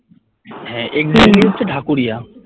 হ্যাঁ exactly হচ্ছে ঢাকুরিয়া